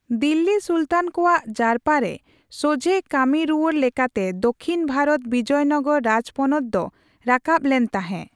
ᱫᱤᱞᱞᱤ ᱥᱩᱞᱛᱟᱱ ᱠᱚᱣᱟᱜ ᱡᱟᱨᱯᱟᱨᱮ ᱥᱚᱡᱷᱮ ᱠᱟᱹᱢᱤᱨᱩᱣᱟᱹᱲ ᱞᱮᱠᱟᱛᱮ ᱫᱚᱠᱷᱤᱱ ᱵᱷᱟᱨᱚᱛ ᱵᱤᱡᱚᱭᱱᱚᱜᱚᱨ ᱨᱟᱡᱯᱚᱱᱚᱛ ᱫᱚ ᱨᱟᱠᱟᱵ ᱞᱮᱱ ᱛᱟᱦᱮᱸ᱾